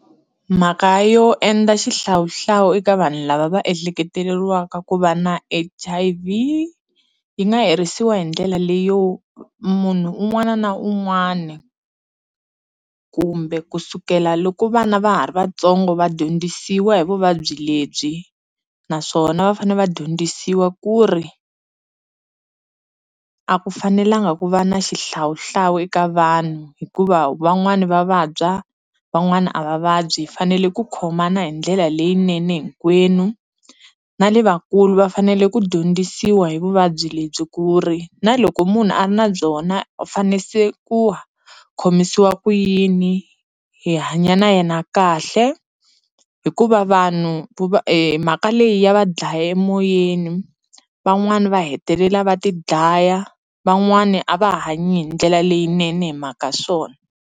Mhaka yo endla xihlawuhlawu eka vanhu lava va ehleketeleriwa ku va na H_I_V yi nga herisiwa hi ndlela leyo munhu un'wana na un'wana kumbe kusukela loko vana va ha ri vatsongo va dyondzisiwa hi vuvabyi lebyi naswona va fane va dyondzisiwa ku ri a ku fanelanga ku va na xihlawuhlawu eka vanhu hikuva wun'wana va vabya van'wana a va vabyi fanele ku khomana hi ndlela leyinene hinkwenu na le vakulu va fanele ku dyondzisiwa hi vuvabyi lebyi ku ri na loko munhu a ri na byona u fane se ku khomisiwa ku yini hi hanya na yena kahle hikuva vanhu mhaka leyi ya va dlaya emoyeni van'wana va hetelela va ti dlaya van'wana a va ha hanyi hi ndlela leyinene hi mhaka swona.